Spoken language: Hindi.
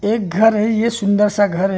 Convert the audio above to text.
एक घर है ये सुंदर सा घर है।